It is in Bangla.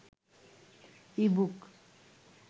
ইবুক